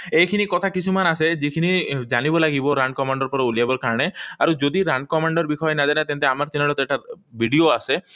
এইখিনি কথা কিছুমান আছে, যিখিনি জানিব লাগিব run command ৰ পৰা উলিয়াব কাৰণে। আৰু যদি run command ৰ বিষয়ে নাজানে, তেন্তে আমাৰ চেনেলত এটা ভিডিঅ আছে,